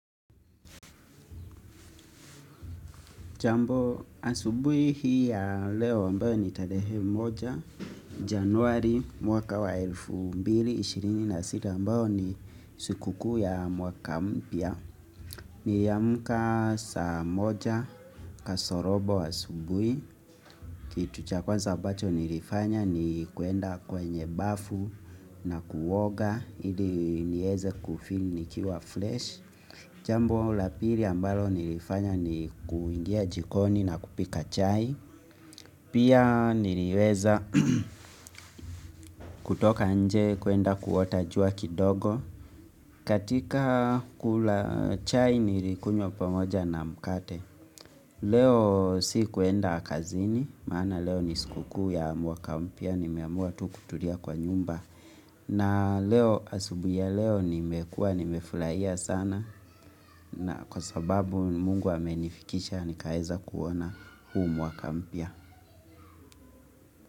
Jambo asubui hii ya leo ambayo ni tarehe moja Januari mwaka wa elfu mbili 26 ambayo ni sukuku ya mwaka mpia Niyamuka sa moja kasorobo asubui kitu cha kwanza bacho nilifanya ni kuenda kwenye bafu na kuwoga Ili nieze kufin nikiwa flesh Jambo lapiri ambalo nilifanya ni kuingia jikoni na kupika chai Pia niliweza kutoka nje kuenda kuota jua kidogo katika kula chai nilikunywa pamoja na mkate Leo si kuenda kazini maana leo ni sikuku ya muaka mpia nimeamua tu kutulia kwa nyumba na leo asubuhi ya leo nimekua nimefulaia sana na kwa sababu ni Mungu amenifikisha ni kaeza kuona humu mwaka mpia.